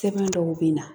Sɛbɛn dɔw bɛ na